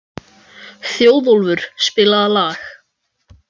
Þjóðólfur, spilaðu lag.